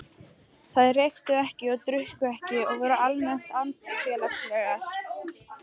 Þeir reyktu ekki og drukku ekki og voru almennt andfélagslegir.